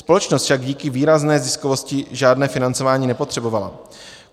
Společnost však díky výrazné ziskovosti žádné financování nepotřebovala.